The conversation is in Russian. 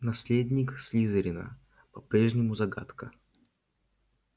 наследник слизерина по-прежнему загадка